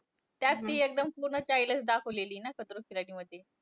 त्यात ती एकदम पूर्ण childish दाखवलेलीये ना, खतरों के खिलाडी मध्ये.